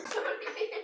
segir konan.